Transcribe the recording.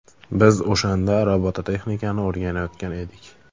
Biz o‘shanda robototexnikani o‘rganayotgan edik.